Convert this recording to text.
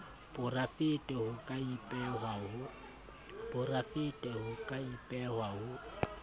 porafete ho ka ipehwa ho